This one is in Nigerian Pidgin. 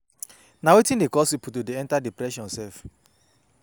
Na wetin dey cause people to dey enter depression sef?